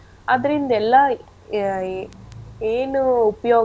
ಅದ್ರಿಂದೆಲ್ಲ ಆ ಏನು ಉಪ್ಯೋಗ.